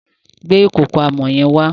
Gbe ìkòkò amọ̀ yẹn wá.